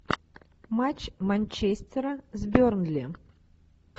матч манчестера с бернли